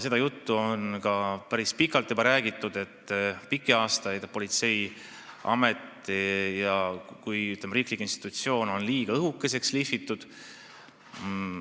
Seda juttu on päris pikalt juba räägitud, pikki aastaid, et Politsei- ja Piirivalveamet kui riiklik institutsioon on liiga õhukeseks lihvitud.